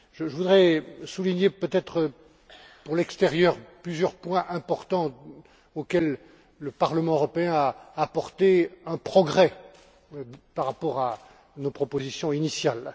Je voudrais souligner, peut être, vis à vis de l'extérieur, plusieurs points importants sur lesquels le Parlement européen a apporté un progrès par rapport à nos propositions initiales.